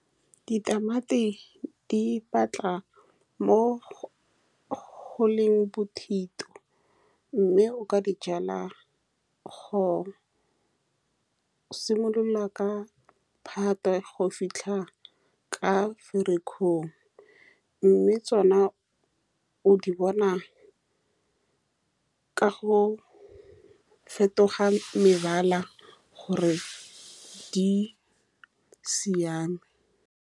Ditamati di batla mo go-go leng bothito, mme o ka dijala go simolola ka phatwe go fitlha ka ferikgong, mme tsone o di bona ka go fetoga mebala gore di siame.